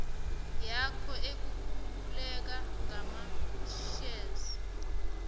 yakho ekululeka ngamashare